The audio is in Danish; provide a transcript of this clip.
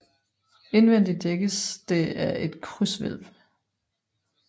Indvendig dækkes det af et krydshvælv